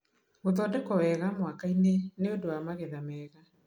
Gũthondekwo wega mwaka-inĩ nĩ ũndũ wa magetha mega